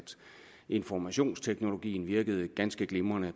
informationsteknologien virker ganske glimrende